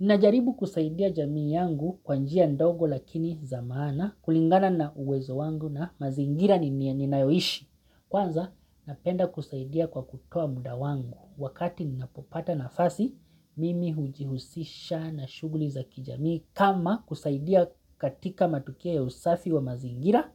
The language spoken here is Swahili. Ninajaribu kusaidia jamii yangu kwa njia ndogo lakini za maana kulingana na uwezo wangu na mazingira ninayoishi. Kwanza napenda kusaidia kwa kutoa muda wangu wakati ninapopata nafasi mimi hujihusisha na shughuli za kijamii. Kama kusaidia katika matukia ya usafi wa mazingira,